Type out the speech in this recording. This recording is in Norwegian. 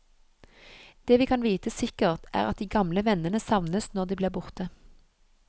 Det vi kan vite sikkert, er at de gamle vennene savnes når de blir borte.